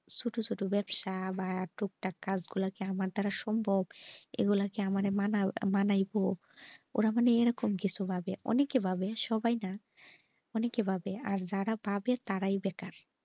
ছোট ছোট ব্যবসা বা টুক তাকে কাজ গুলা কি আমার দ্বারা সম্ভব এইগুলো কি আমাকে মানা মানাইব? ওরা মানে এরকম কিছু ভাবে অনেকে ভাবে সবাই না অনেকে ভাবে আর যারা ভাবে তারাই বেকার।